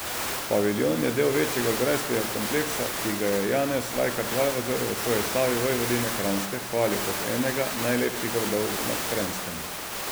Paviljon je del večjega grajskega kompleksa, ki ga je v Janez Vajkard Valvazor v svoji Slavi vojvodine Kranjske hvalil kot enega najlepših gradov na Kranjskem.